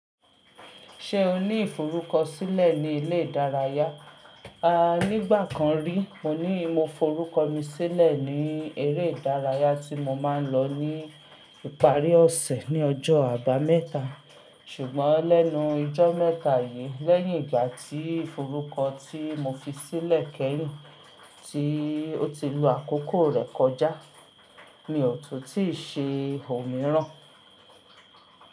Ṣé o ní ìforúkọ sílẹ̀ ní ilé ìdárayá? A nígbà kan rí, mo ní mo forúkọ mi sílẹ̀ ní eré ìdárayá tí mo máa ń lọ ní ìparí ọ̀sẹ̀ ní ọjọ́ àbámẹ́ta. Ṣùgbọ́n lẹ́nu ijó mẹ́ta yìí, lẹ́yìn ìgbà tí ìforúkọ tí mo fi sílẹ̀ kẹ́yìn tí ó ti lo àkókò rẹ̀ kọjá, mi ò tun tíì ṣe òmíràn.